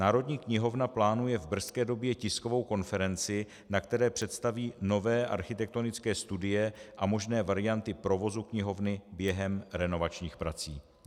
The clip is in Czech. Národní knihovna plánuje v brzké době tiskovou konferenci, na které představí nové architektonické studie a možné varianty provozu knihovny během renovačních prací.